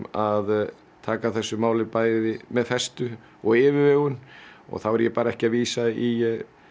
að taka þessu máli bæði með festu og yfirvegun og þá er ég bara ekki að vísa í